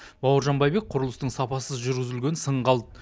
бауыржан байбек құрылыстың сапасыз жүргізілгенін сынға алды